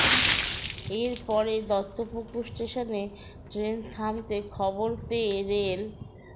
এর পরে দত্তপুকুর স্টেশনে ট্রেন থামতে খবর পেয়ে রেল